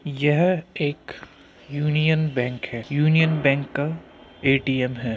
एक Union Bank है। Union Bank का एटीएम है।